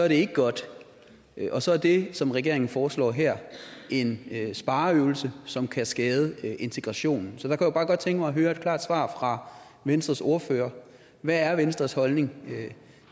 ikke godt og så er det som regeringen foreslår her en spareøvelse som kan skade integrationen så jeg bare godt tænke mig at høre et klart svar fra venstres ordfører hvad er venstres holdning